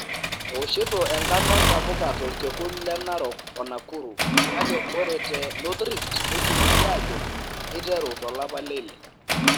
Ewoshito enkano intapuka tolkekun le Narok o Nakuru kake ore te North Rift neisiligi aajo keiteru to lapa le ile.